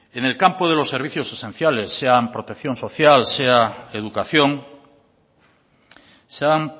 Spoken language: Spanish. en el campo de los servicios esenciales sea protección social sea educación se han